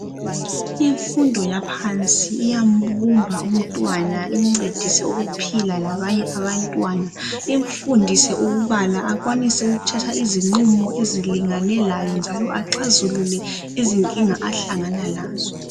Imfundo yaphansi iyambumba umntwana imncedise ukuphila labanye abantwana imfundise ukubala akwanise ukuthatha izinqumo ezilingane laye njalo aqazulule izinkinga ahlangana lazo.